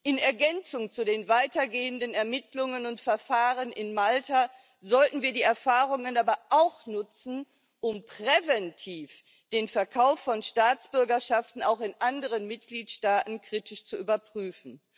In Ergänzung zu den weitergehenden Ermittlungen und Verfahren in Malta sollten wir die Erfahrungen aber auch nutzen, um präventiv den Verkauf von Staatsbürgerschaften auch in anderen Mitgliedstaaten kritisch zu überprüfen.